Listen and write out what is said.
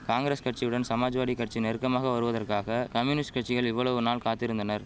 காங்கிரஸ் கட்சியுடன் சமாஜ்வாடி கட்சி நெருக்கமாக வருவதற்காக கம்யூனிஸ்ட் கட்சிகள் இவ்வளவு நாள் காத்திருந்தனர்